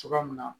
Cogoya min na